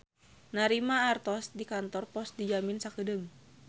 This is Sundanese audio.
Narima artos di kantor pos dijamin sakeudeung.